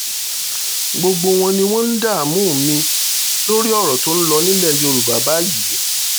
gbogbo wọn ni wọ́n ń dààmú mi lórí ọ̀rọ̀ tó ń lọ nílẹ̀ yorùbá báyìí